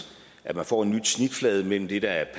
at man får en ny snitflade mellem det der er